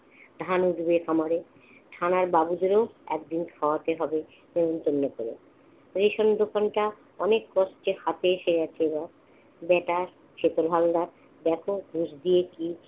ধান উঠবে খামারে। থানার বাবুদেরও একদিন খাওয়াতে হবে নেমন্তন্ন করে। রেশনের দোকানটা অনেক কষ্টে হাতে এসে গিয়েছিল। ব্যাটা সুখেন হালদার ব্যাপক ঘুষ দিয়ে কি